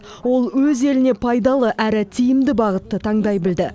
ол өз еліне пайдалы әрі тиімді бағытты таңдай білді